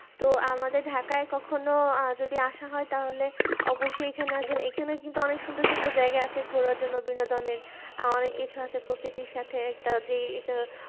তো আমাদের ঢাকা কখনো যদি আসা হয় তাহলে অবশই এখানে আসবেন এখানে কিন্তু অনেক সুন্দর সুন্দর জায়গা আছে ঘোড়ার জন্য বিনোদনের অনেক কিছু আছে প্রকৃতির সাথে একটা যে এটা